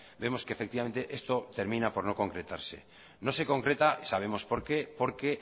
vemos que efectivamente esto termina por no concretarse no se concreta sabemos porqué porque